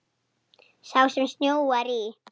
Sá sem snjóar í.